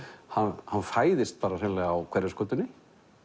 hann fæðist hreinlega á Hverfisgötunni